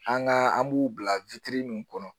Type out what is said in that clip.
An ka an b'u bila min kɔnɔ